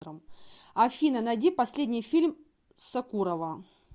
афина найди последний фильм сокурова